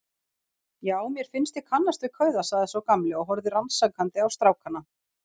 Já, mér fannst ég kannast við kauða sagði sá gamli og horfði rannsakandi á strákana.